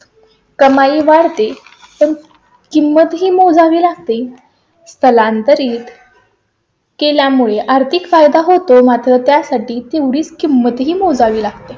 कमाई वाढती किंमत ही मोजा वी लागते त्याला अंतरीत. केल्या मुळे आर्थिक फायदा होतो. मात्र त्यासाठी तेवढीच किंमत ही मोजा वी लागते.